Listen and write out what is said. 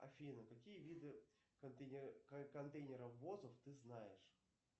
афина какие виды контейнеровозов ты знаешь